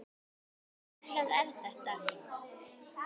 Hversu ruglað er þetta?